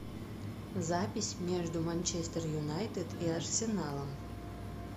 запись между манчестер юнайтед и арсеналом